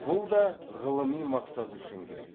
бұл да ғылыми мақсат үшін керек